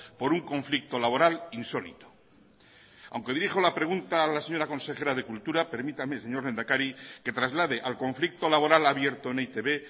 por un conflicto laboral insólito aunque dirijo la pregunta a la señora consejera de cultura permítame señor lehendakari que traslade al conflicto laboral abierto en e i te be